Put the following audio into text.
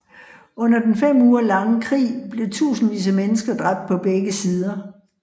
Under den fem uger lange krig blev tusindvis af mennesker dræbt på begge sider